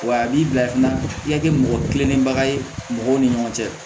Wa a b'i bila i kunna i ka kɛ mɔgɔ kilenenbaga ye mɔgɔw ni ɲɔgɔn cɛ